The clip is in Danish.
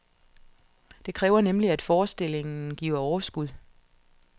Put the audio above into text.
Det kræver nemlig, at forestillingen giver overskud.